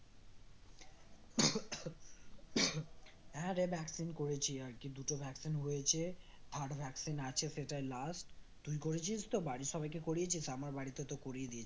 হ্যাঁরে vaccine করেছি আর কি দুটো vaccine হয়েছে আরো vaccine আছে সেটাই last তুই করেছিস তো বাড়ির সবাইকে করিয়েছিস? আমার বাড়িতে তো করিয়ে দিয়েছি রে